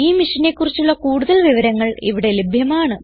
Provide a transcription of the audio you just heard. ഈ മിഷനെ കുറിച്ചുള്ള കുടുതൽ വിവരങ്ങൾ ഇവിടെ ലഭ്യമാണ്